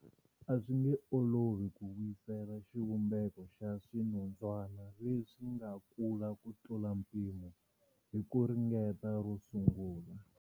A swi nge olovi ku vuyisela xivumbeko xa swinondzwana leswi nga kula ku tlula mpimo hi ku ringeta ro sungula.